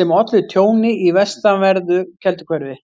sem ollu tjóni í vestanverðu Kelduhverfi.